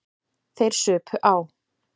Þeir supu á.